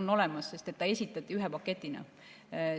on olemas, sest ta esitati ühe paketina.